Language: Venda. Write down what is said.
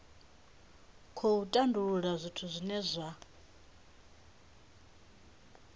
khou tandulula zwithu zwine zwa